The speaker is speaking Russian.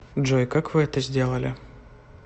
джой как вы это сделали